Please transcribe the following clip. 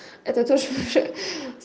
это тоже хи-хи